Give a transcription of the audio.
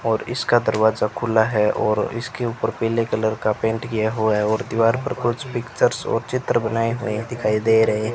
और इसका दरवाजा खुला है और इसके ऊपर पीले कलर का पेंट किया हुआ है और दीवार पर कुछ पिक्चर्स और चित्र बनाए हुए दिखाई दे रहे --